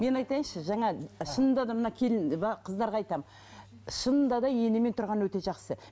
мен айтайыншы жаңа шынында да мына келін қыздарға айтамын шынында да енемен тұрған өте жақсы